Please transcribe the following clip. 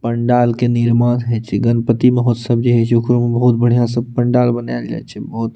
पंडाल के निर्माण हय छय गणपति महोत्सव जे हय छय ओकरो में बहुत बढियाँ सब पंडाल बनायल जाय छय बहुत --